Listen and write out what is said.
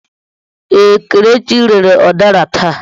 Ee, Kelechi rere udara taa.